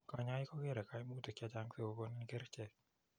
Kanyaik kokeree kaimutik chechang sikokonin kerchek